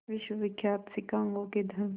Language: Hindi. विश्वविख्यात शिकागो के धर्म